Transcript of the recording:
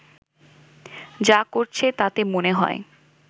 যা করছে তাতে মনে হয়